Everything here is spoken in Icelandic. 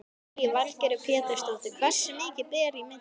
Lillý Valgerður Pétursdóttir: Hversu mikið ber í milli?